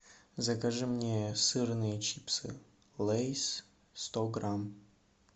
закажи мне сырные чипсы лейс сто грамм